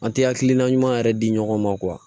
An tɛ hakilina ɲuman yɛrɛ di ɲɔgɔn ma